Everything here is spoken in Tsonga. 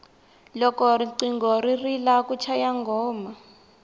loko riqingho ri rila ku chaya nghoma